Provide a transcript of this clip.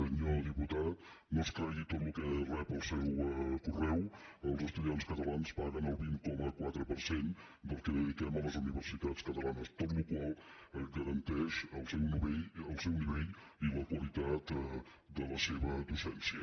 senyor diputat no es cregui tot el que rep al seu correu els estudiants catalans paguen el vint coma quatre per cent del que dediquem a les universitats catalanes cosa que garanteix el seu nivell i la qualitat de la seva docència